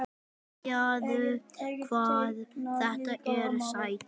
Sjáðu hvað þetta er sætt?